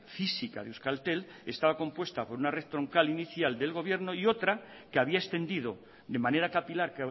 física de euskaltel estaba compuesta por una red troncal inicial del gobierno y otra que había extendido de manera capilar